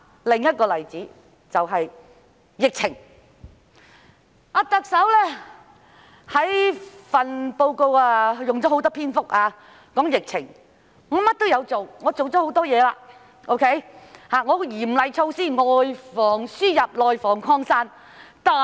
另一個例子就是疫情，特首的施政報告用了很多篇幅談及疫情，說明她做了很多事情，亦推行了嚴厲措施，外防輸入、內防擴散。